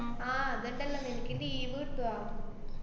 ആഹ് അതൊണ്ടല്ലാ നിനക്ക് leave കിട്ടുവാ?